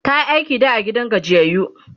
tayi aiki da a gidan gajiyayyu